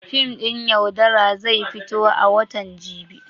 Fim ɗin "Yaudara" zai fito a watan jibi.